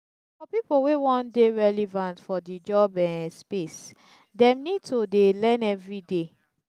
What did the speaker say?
for pipo wey won de relevant for di job um space dem need to de learn everyday